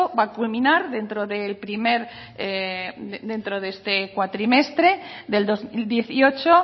va a culminar dentro del este cuatrimestre del dos mil dieciocho